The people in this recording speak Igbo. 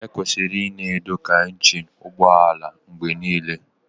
Ekwesịrị ịna edokwa injin ụgbọ ala mgbe niile